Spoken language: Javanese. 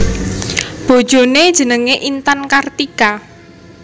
Bojoné jenengé Intan Kartika